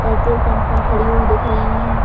Petrol pump पर खड़ी हुई दिख रही है।